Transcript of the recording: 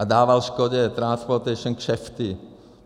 A dával Škodě Transportation kšefty.